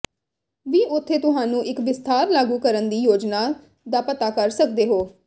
ਵੀ ਉੱਥੇ ਤੁਹਾਨੂੰ ਇੱਕ ਵਿਸਥਾਰ ਲਾਗੂ ਕਰਨ ਦੀ ਯੋਜਨਾ ਦਾ ਪਤਾ ਕਰ ਸਕਦੇ ਹੋ